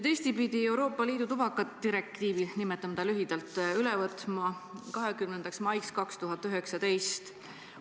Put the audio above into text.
Eesti pidi Euroopa Liidu tubakadirektiivi, nimetame seda lühidalt nii, üle võtma 20. maiks 2019.